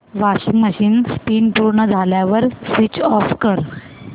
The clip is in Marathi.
वॉशिंग मशीन स्पिन पूर्ण झाल्यावर स्विच ऑफ कर